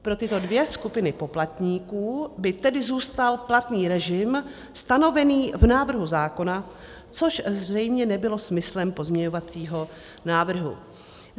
Pro tyto dvě skupiny poplatníků by tedy zůstal platný režim stanovený v návrhu zákona, což zřejmě nebylo smyslem pozměňovacího návrhu.